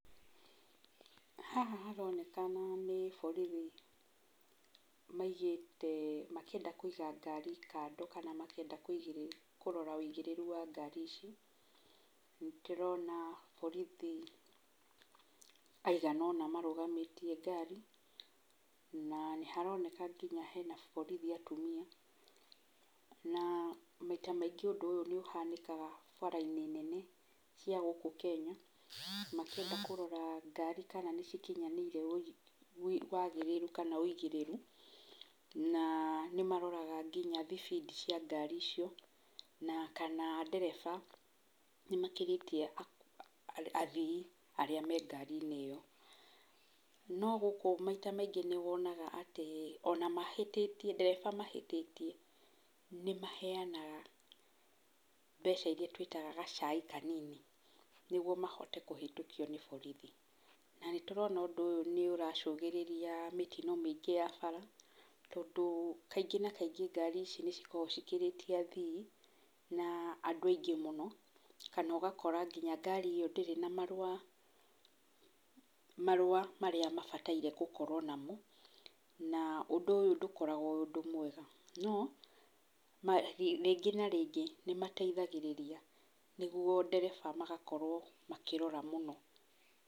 Haha haronekana nĩ borithi maigĩte, makĩenda kũiga ngari kando kana makĩenda kũrora ũigĩrĩru wa ngari ici. Nĩtũrona borithi maigana ũna marũgamĩtie ngari, na nĩ haroneka nginya he borithi atumia, na maita maingĩ ũndũ ũyũ nĩ ũhanĩkaga bara-inĩ nene cia gũkũ Kenya makĩenda kũrora kana ngari nĩ cikinyanĩirie wagĩrĩru kana ũigĩrĩru na nĩ maroraga nginya thibindi cia ngari icio, na kana ndereba nĩ makĩrĩtie athii arĩa me ngari-inĩ ĩyo, no gũkũ maita maingĩ nĩ wonaga atĩ ona mahĩtĩtie, ndereba mahĩtĩtie nĩ maheanaga mbeca irĩa twĩtaga gacai kanini, nĩguo mahote kũhetũkio nĩ borithi, na nĩ tũrona ũndũ ũyũ nĩ ũracũngĩrĩria mĩtino mĩingĩ ya barabara, tondũ kaingĩ na kaingĩ ngari ici nĩ cikoragwo cikĩrĩtie athii na andũ aingĩ mũno, kana ũgakora nginya ngarĩ ĩo ndĩrĩ na marũa, marũa marĩa mabataire gũkorwo namo, na ũndũ ũyũ ndũkoragwo wĩ ũndũ mwega, no rĩngĩ na rĩngĩ nĩ mateithagĩrĩria nĩguo ndereba magakorwo makĩrora mũno.